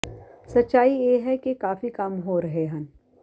ਸੱਚਾਈ ਇਹ ਹੈ ਕਿ ਕਾਫੀ ਕੰਮ ਹੋ ਰਹੇ ਹਨ